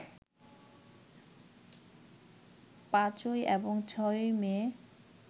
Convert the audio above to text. ৫ই এবং ৬ই মে